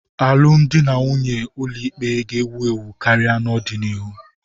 Alụmdi na nwunye n'ụlọikpe ga-ewu ewu karị n'ọdịnihu.